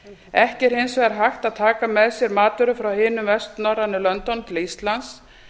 ekki er hins vegar hægt að taka með sér matvörur frá hinum vestnorrænu löndunum til íslands